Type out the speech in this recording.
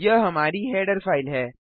यह हमारी header file है